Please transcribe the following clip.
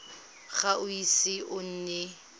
ga o ise o nne